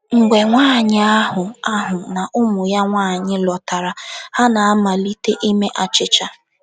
Mgbe nwaanyị ahụ ahụ na ụmụ ya nwaanyị lọtara, ha na - amalite ime achịcha.